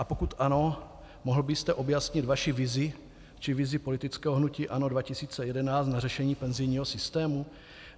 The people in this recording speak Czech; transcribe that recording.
A pokud ano, mohl byste objasnit vaši vizi či vizi politického hnutí ANO 2011 na řešení penzijního systému?